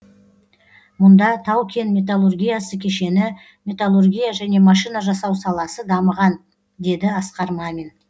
мұнда тау кен металлургиясы кешені металлургия және машина жасау саласы дамыған деді асқар мамин